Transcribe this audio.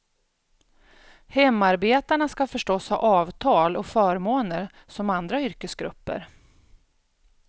Hemarbetarna skall förstås ha avtal och förmåner som andra yrkesgrupper.